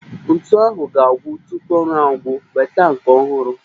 Ntu ahụ ga-agwụ tupu ọrụ agwụ, weta nke ọhụrụ